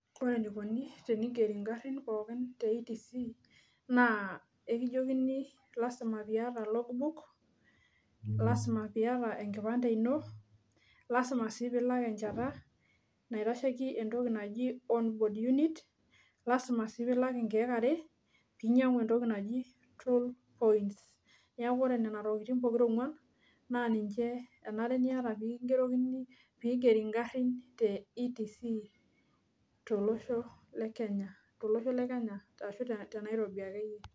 Kore enikoni peyie igeri inkarin pooki te ETC, naa ekijokini lazima piiata logbook, lazima piiata enkipande ino, lazima sii piilak enchata naitasheki entoki naji onboard unit, lazima sii piilak inkiek are piitum entoki naji scroll points .Neaku kore nena tokitin pokira onguan' naa ninche enare niata pee kingerokini, pee igeri inkarin te ETC, to losho le Kenya aashu te Nairobi akeyie.